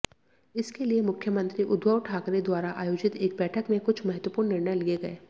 इसके लिए मुख्यमंत्री उद्धव ठाकरे द्वारा आयोजित एक बैठक में कुछ महत्वपूर्ण निर्णय लिए गए